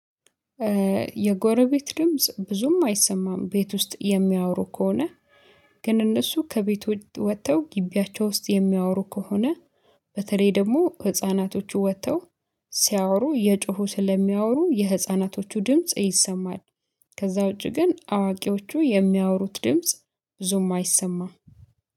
የጎረቤት ድምጽ ብዙም አይሰማም ቤት ውስጥ የሚያወሩ ከሆነ ግን እነሱ ከቤት ወጥተው ግቢያቸው ውስጥ የሚያወሩ ከሆነ በተለይ ደግሞ ህፃናቶቹ ወጥተው ሲያወሩ እየጮሁ ስለሚያወሩ የህፃናቶቹ ድምጽ ይሰማል። ከዛ ውጪ ግን አዋቂዎቹ የሚያወሩት ድምጽ ብዙም አይሰማም።